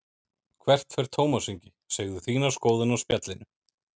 Hvert fer Tómas Ingi, segðu þína skoðun á Spjallinu